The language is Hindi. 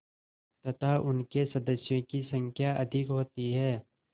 तथा उनके सदस्यों की संख्या अधिक होती है